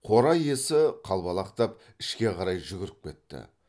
қора иесі қалбалақтап ішке қарай жүгіріп кетті